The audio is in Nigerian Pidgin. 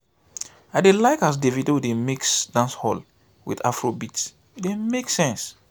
i dey like as davido dey mix dancehall wit afrobeat e dey make sense.